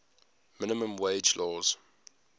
minimum wage laws